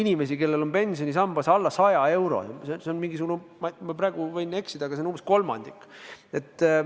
Neil on pensionisambas alla 100 euro ja neid on, ma praegu võin eksida, aga umbes kolmandik.